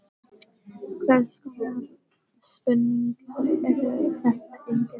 Hvers konar spurningar eru þetta eiginlega?